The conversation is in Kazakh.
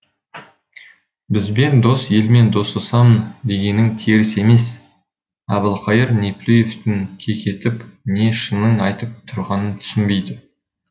бізбен дос елмен достасамын дегенің теріс емес әбілқайыр неплюевтің кекетіп не шынын айтып тұрғанын түсінбейді